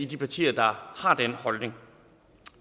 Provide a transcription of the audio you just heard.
de partier der har den holdning